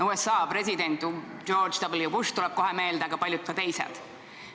USA president George W. Bush tuleb kohe meelde, aga ka paljud teised.